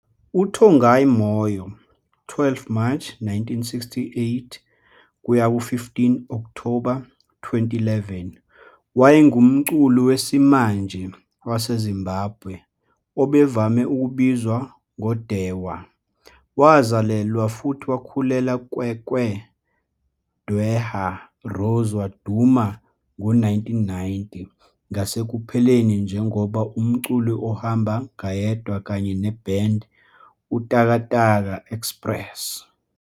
UTongai Moyo, 12 Mashi 1968 - 15 Okthoba 2011, wayengumculi wesimanje waseZimbabwe, obevame ukubizwa ngoDhewa. Wazalelwa futhi wakhulela Kwekwe, Dhewa rose waduma ngo-1990 ngasekupheleni njengoba umculi ohamba ngayedwa kanye ne-band Utakataka Express.